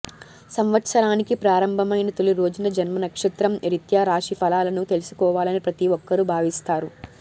సంవత్సరానికి ప్రారంభమైన తొలి రోజున జన్మనక్షత్రం రీత్యా రాశి ఫలాలను తెలుసుకోవాలని ప్రతి ఒక్కరూ భావిస్తారు